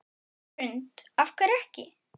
Hrund: Af hverju ekki?